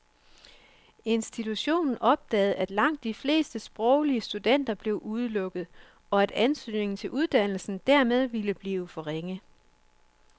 Institutionen opdagede, at langt de fleste sproglige studenter blev udelukket, og at søgningen til uddannelsen dermed ville blive for ringe.